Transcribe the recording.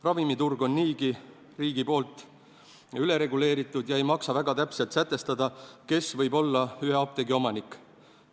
Ravimiturg on riigi poolt niigi ülereguleeritud ja ei maksa väga täpselt sätestada, kes võib olla ühe apteegi omanik.